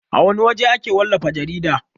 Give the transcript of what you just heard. A wana waje ake wallafa jarida?